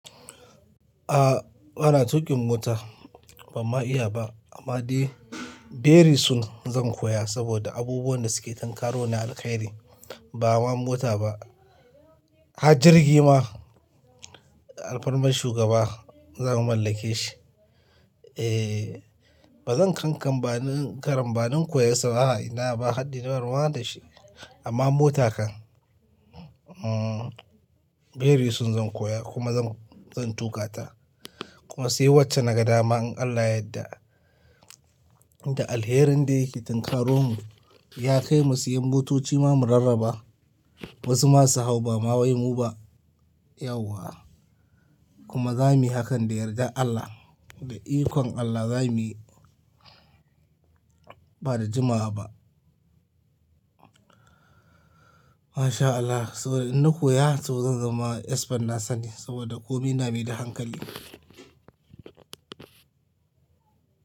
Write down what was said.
A'a bana tuƙin mota. Ban ma iya ba amma dai, beri soon zan koya saboda abubuwan da suke tankaro na alheri ba ma mota ba. Hajirgi ma, alfan mashugaba za mu mallake shi. Eh, ba zan kanka ba, karamba zan koya saboda ina ba haddi na raba da shi amma mota kan. Hmm bery soon zan koya kuma zan, zan tuƙa ta. Kuma sai wacce na ga dama in Allah yadda, inda alherin da yake tankaro mu, ya kai mu siyan motoci ma mu rarraba. Wasu masu hau ba ma wai mu ba, yauwa. Kuma za mu yi hakan da yardar Allah, da ikonn Allah za mu yi, ba da jima'a ba. Masha Allah saboda in na koya to zan zama expert na sani saboda komi na me da hankali.